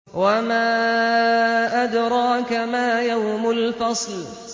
وَمَا أَدْرَاكَ مَا يَوْمُ الْفَصْلِ